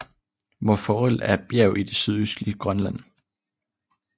Mont Forel er et bjerg i det sydøstlige Grønland